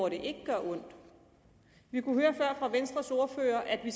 at det gør ondt vi kunne høre før fra venstres ordfører at vi